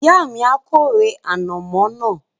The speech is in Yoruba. Ìyá mi a kórè ànàmọ́ náà